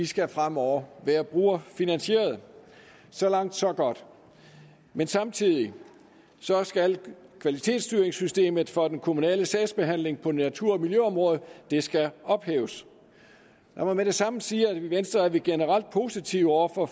skal fremover være brugerfinansieret så langt så godt men samtidig skal kvalitetsstyringssystemet for den kommunale sagsbehandling på natur og miljøområdet ophæves lad mig med det samme sige at i venstre er vi generelt positive over for